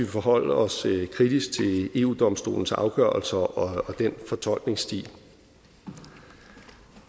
forholde os kritisk til eu domstolens afgørelser og dens fortolkningsstil